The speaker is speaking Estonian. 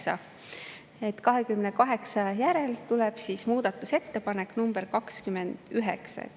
Tegelikult tuleb 28 järel muudatusettepanek nr 29.